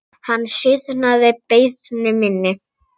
Hann synjaði beiðni minni.